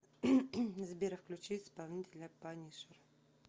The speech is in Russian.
сбер включи исполнителя панишер